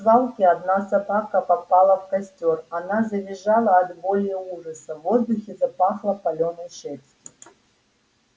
в свалке одна собака попала в костёр она завизжала от боли и ужаса в воздухе запахло палёной шерстью